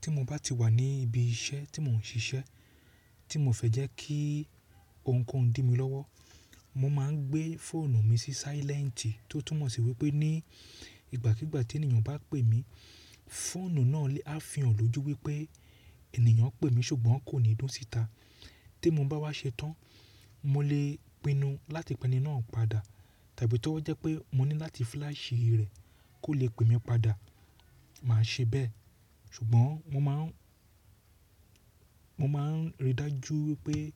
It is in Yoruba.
Tí mo bá ti wà ní ibi iṣẹ́ tí mò ń ṣiṣẹ́ tí mo fẹ́ jẹ́ kí ohunkóhun dì mi lọ́wọ́, mo máa ń gbé fóònù mi sí sílẹ́ǹtì tó túmọ̀ sí wípé ní ìgbàkígbà tí ènìyàn bá pè mí, fóònù náà lè á fihàn lójú wípé ènìyàn ń pè mí ṣùgbọ́n kò ní dùn síta. Tí mo bá wá ṣe tán, mo lè pinu láti pẹ́ni náà padà tàbí tí o jẹ́ pé mo ní láti fúláàṣì rẹ̀ kó lè pè mí padà, màá ṣe bẹ́ẹ̀. Ṣùgbọ́n mo máa ń, mo máa ń ríi dájú wípé